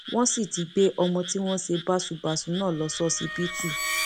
wọn sì ti gbé ọmọ tí wọn ṣe báṣubàṣu náà lọ ṣọsibítù